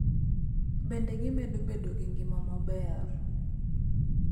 Bende, gimedo bedo gi ngima maber